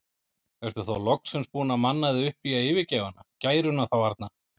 Ertu þá loksins búinn að manna þig upp í að yfirgefa hana, gæruna þá arna?